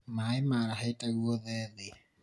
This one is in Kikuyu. maĩ maarahĩte gwothe thĩ